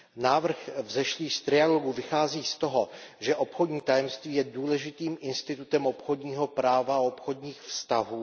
Návrh vzešlý z trialogů vychází z toho, že obchodní tajemství je důležitým institutem obchodního práva a obchodních vztahů.